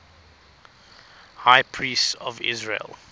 high priests of israel